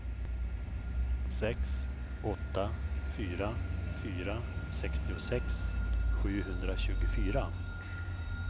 sex åtta fyra fyra sextiosex sjuhundratjugofyra